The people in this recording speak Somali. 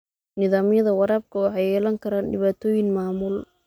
Nidaamyada waraabka waxay yeelan karaan dhibaatooyin maamul.